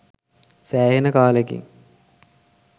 සෑහෙන කාලෙකින්